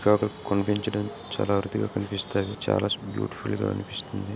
Peacock కనిపించడం. చాలా అరుదుగా కనిపిస్తాయి. చాలా బీయూటిఫుల్ల్గా అనిపిస్తుంది.